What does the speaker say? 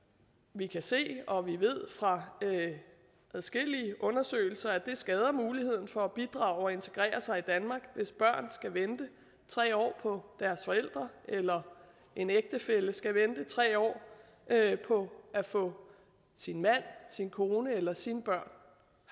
vi kan se og vi ved fra adskillige undersøgelser at det skader muligheden for at bidrage og integrere sig i danmark hvis børn skal vente tre år på deres forældre eller en ægtefælle skal vente tre år på at få sin mand sin kone eller sine børn